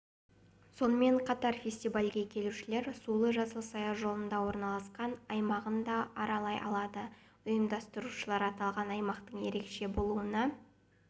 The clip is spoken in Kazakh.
сонымен қатар фестивальге келушілер сулы-жасыл саяжолында орналасқан аймағын да аралай алады ұйымдастырушылар аталған аймақтың ерекше болуына